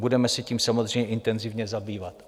Budeme se tím samozřejmě intenzivně zabývat.